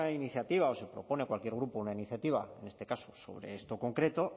iniciativa o se propone a cualquier grupo una iniciativa en este caso sobre esto concreto